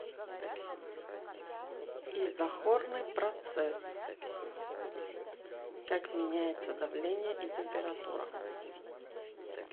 изохорный процесс как меняется давление и температура